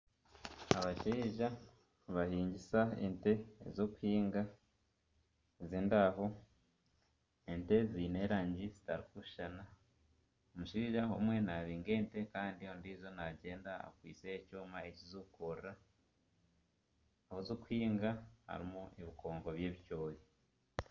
Abashaija nibahingisa ente ezirikuhinga ez'endaho. Ente ziine erangi zitarikushushana. omushaija omwe nabinga ente Kandi ondiijo naayenda akwitse ekyoma ekizirikukurura. Ahi zirikuhinga, harimu ebikonko by'ebicoori.